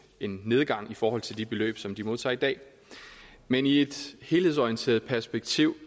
en nedgang i forhold til de beløb som de modtager i dag men i et helhedsorienteret perspektiv